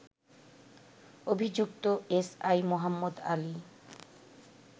অভিযুক্ত এসআই মোহাম্মদ আলী